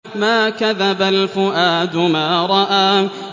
مَا كَذَبَ الْفُؤَادُ مَا رَأَىٰ